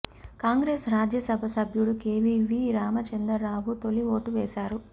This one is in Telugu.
కాంగ్రెసు రాజ్యసభ సభ్యుడు కెవిపి రామచందర్ రావు తొలి ఓటు వేశారు